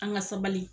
An ka sabali